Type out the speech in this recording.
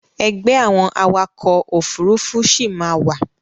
Ẹgbẹ́ àwọn awakọ̀ Òfurufú sì máa wà